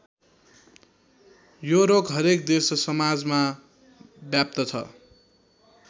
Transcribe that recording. यो रोग हरेक देश र समाजमा व्याप्त छ।